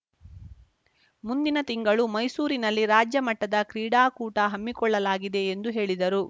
ಮುಂದಿನ ತಿಂಗಳು ಮೈಸೂರಿನಲ್ಲಿ ರಾಜ್ಯಮಟ್ಟದ ಕ್ರೀಡಾಕೂಟ ಹಮ್ಮಿಕೊಳ್ಳಲಾಗಿದೆ ಎಂದು ಹೇಳಿದರು